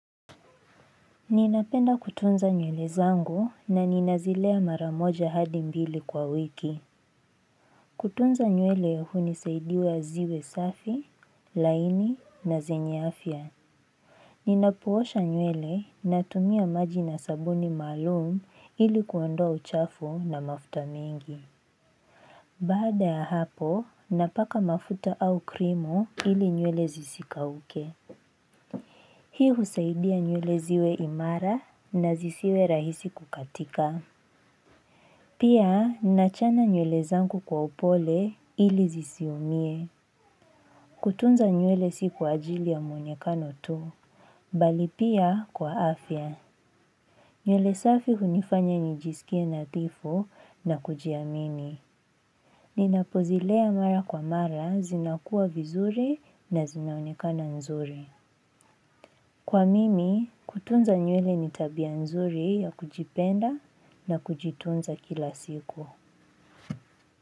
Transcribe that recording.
Ninapenda kutunza nywele zangu na ninazilea maramoja hadi mbili kwa wiki. Kutunza nywele huni saidiya ziwe safi, laini na zenye afia. Ninapoosha nywele natumia maji na sabuni malum ili kuondoa uchafu na mafuta mingi. Baada ya hapo, napaka mafuta au krimo ili nywele zisikauke. Hii husaidia nywele ziwe imara na zisiwe rahisi kukatika. Pia, ninachana nywele zangu kwa upole ili zisiumie. Kutunza nywele siku ajili ya muonekano tu. Bali pia kwa afya. Nywele safi hunifanya nijiskie nadhifu na kujiamini. Ninapozilea mara kwa mara zinakuwa vizuri na zinaonekana nzuri. Kwa mimi, kutunza nyuele nitabia nzuri ya kujipenda na kujitunza kila siku.